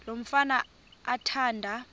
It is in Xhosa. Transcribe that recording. lo mfana athanda